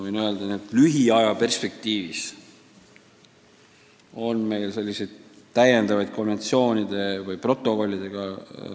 Võingi öelda, et lähiaja perspektiivis on plaanis esitada ratifitseerimiseks neli konventsiooni või protokolli.